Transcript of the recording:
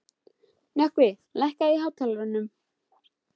Nökkvi, lækkaðu í hátalaranum.